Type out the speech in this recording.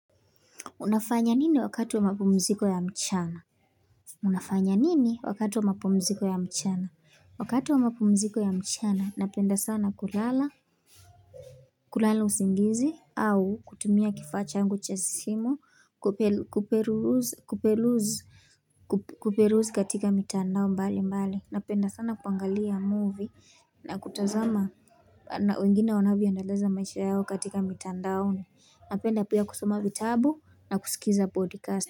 Unafanya nini wakati wa mapumziko ya mchana? Unafanya nini wakatu wa mapumziko ya mchana? Wakatu wa mapumziko ya mchana, napenda sana kulala usingizi au kutumia kifaa changu cha simu kuperuzi katika mitandao mbali mbali. Napenda sana kuangalia movie na kutazama na wengine wanavyoendeleza maisha yao katika mitandaoni. Napenda pia kusoma vitabu na kusikiza podcast.